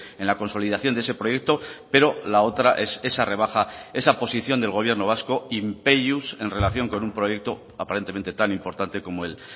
en la consolidación de ese proyecto pero la otra es esa rebaja esa posición del gobierno vasco in peius en relación con un proyecto aparentemente tan importante como el